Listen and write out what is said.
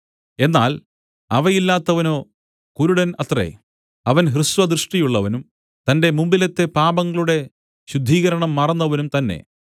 എന്നാൽ അവയില്ലാത്തവനോ കുരുടൻ അത്രേ അവൻ ഹ്രസ്വദൃഷ്ടിയുള്ളവനും തന്റെ മുമ്പിലത്തെ പാപങ്ങളുടെ ശുദ്ധീകരണം മറന്നവനും തന്നെ